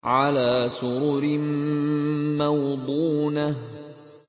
عَلَىٰ سُرُرٍ مَّوْضُونَةٍ